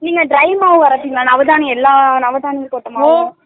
நீங்க dry மாவு அரப்பிங்களா நவதானியம் எல்லா நவதானியும் போட்டமரி ?